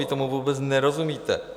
Vy tomu vůbec nerozumíte.